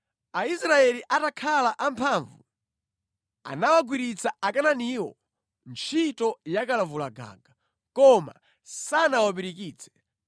Aisraeli atakhala amphamvu, anawagwiritsa Akanaaniwo ntchito yakalavulagaga, koma sanawapirikitse.